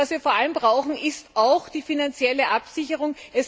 Was wir vor allem brauchen, ist auch die finanzielle Absicherung.